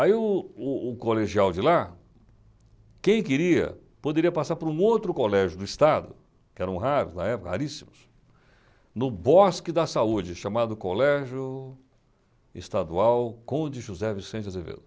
Aí o o o colegial de lá, quem queria, poderia passar por um outro colégio do Estado, que eram raros na época, raríssimos, no Bosque da Saúde, chamado Colégio Estadual Conde José Vicente Azevedo.